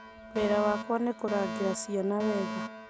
Wĩra wakwa nĩ kũrangĩra ciana wega